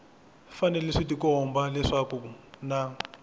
fanele swi tikomba leswaku na